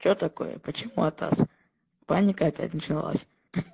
что такое почему атас паникой опять начиналась